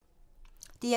DR1